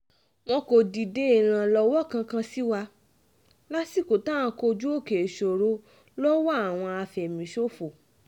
wọn kò dìde ìrànlọ́wọ́ kankan sí wa lásìkò tá à ń kojú òkè ìṣòro lọ́wọ́ àwọn àfẹ̀míṣòfò